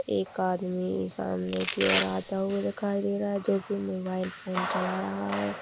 एक आदमी सामने की ओर आता हुआ दिखाई दे रहा है जो की मोबाइल फोन चला रहा है।